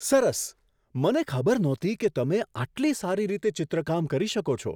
સરસ! મને ખબર નહોતી કે તમે આટલી સારી રીતે ચિત્રકામ કરી શકો છો!